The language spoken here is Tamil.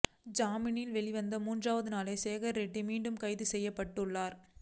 ஜாமீனில் வெளிவந்த மூன்றாவது நாளே சேகர் ரெட்டி மீண்டும் கைது செய்யப்பட்டுள்ளார்